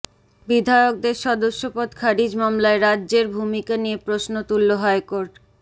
বিধায়কদের সদস্যপদ খারিজ মামলায় রাজ্যের ভূমিকা নিয়ে প্রশ্ন তুলল হাইকোর্ট